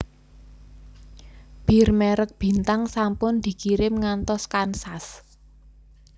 Bir merk Bintang sampun dikirim ngantos Kansas